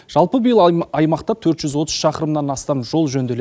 жалпы биыл аймақта төрт жүз отыз шақырымнан астам жол жөнделеді